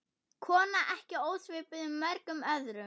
Kona ekki ósvipuð mörgum öðrum.